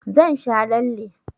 Zan sha lalle.